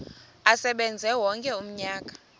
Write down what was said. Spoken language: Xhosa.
asebenze wonke umnyaka